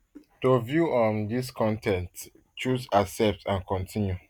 to view um dis con ten t choose accept and continue